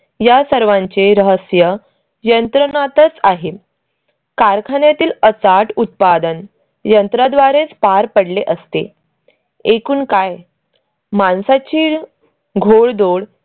या सर्वांचे रहस्य यंत्रणातच आहे. कारखान्यातील अचाट उत्पादन यंत्रा द्वारेच पार पडले असते. एकूण काय माणसाची घोडदौड